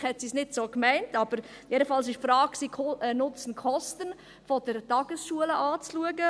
Vielleicht hat sie es nicht so gemeint, jedenfalls ging es darum, die Frage von Nutzen und Kosten der Tagesschulen anzuschauen.